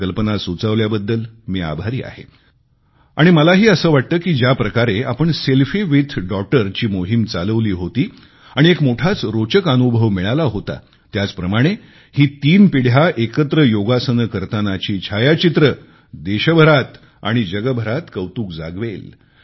ही कल्पना सुचवल्याबद्दल मी आभारी आहे आणि मलाही असे वाटते की ज्याप्रकारे आपण सेल्फी विथ डॉगटर ची मोहीम चालवली होती आणि एक मोठाच रोचक अनुभव मिळाला होता त्याचप्रमाणे ही तीन पिढ्या एकत्र योगासने करतानाची छायाचित्रे देशात व जगभरात कौतुक जागवेल